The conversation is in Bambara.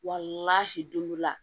Wa hinɛ don dɔ la